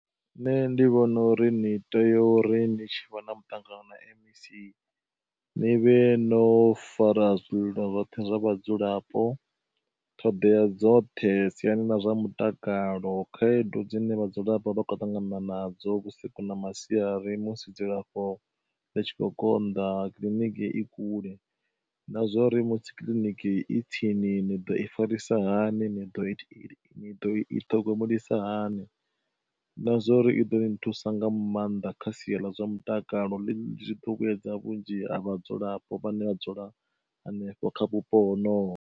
Nṋe ndi vhona uri ni tea uri ndi tshivha na muṱangano na M_E_C ni vhe no fara zwililo zwoṱhe zwa vhadzulapo, ṱhoḓea dzoṱhe siani ḽa zwa mutakalo khaedu dzine vhadzulapo vha kho ṱangana nadzo vhusiku na masiari musi dzilafho ḽitshi kho konḓa kiḽiniki i kule. Na zwori musi kiḽiniki i tsini ni ḓo i farisa hani ni ḓo, ni ḓo i ṱhogomelisa hani na zwa uri i ḓo ni thusa nga maanḓa kha sia ḽa zwa mutakalo ḽi vhuedza vhunzhi ha vhadzulapo vha ne vha dzula hanefho kha vhupo honovho.